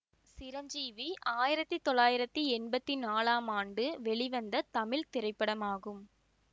சிரஞ்சீவி ஆயிரத்தி தொள்ளாயிரத்தி எம்பத்தி நாளாம் ஆண்டு வெளிவந்த தமிழ் திரைப்படமாகும்